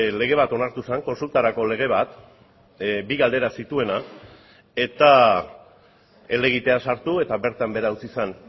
lege bat onartu zen kontsultarako lege bat bi galdera zituena eta helegitea sartu eta bertan behera utzi zen